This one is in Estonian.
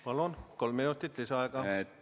Palun, kolm minutit lisaaega!